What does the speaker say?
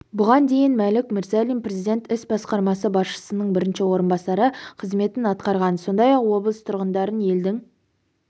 бұған дейін мәлік мырзалин президент іс басқармасы басшысының бірінші орынбасары қызметін атқарған сондай-ақ облыс тұрғындарын елдің